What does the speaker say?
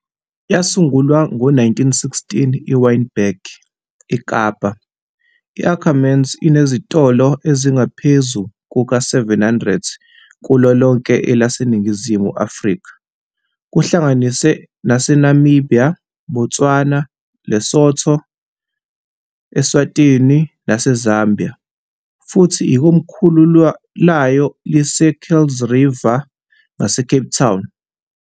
Yasungulwa ngo - 1916 eWynberg, eKapa, i - Ackermans inezitolo ezingaphezu kuka - 700 kulo lonke elaseNingizimu Afrika, kuhlanganise naseNamibia, Botswana, Lesotho, eSwatini naseZambia, futhi ikomkhulu layo liseKuilsriver ngaseCape Town.